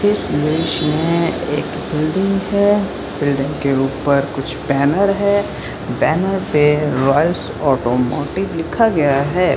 इस दृश्य में एक बिल्डिंग है बिल्डिंग के ऊपर कुछ बैनर है बैनर पे रॉयल्स ऑटोमोटिव लिखा गया है।